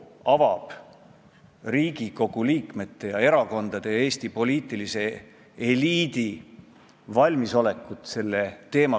Üks minu arvates üsna tark inimene formuleeris asja nii, et kuigi igal ainel on kolm agregaatolekut ehk siis tahke, vedel ja gaasiline, siis teatud tingimustes üks ja sama aine võib ühel ja samal ajal olla korraga kolmes agregaatolekus.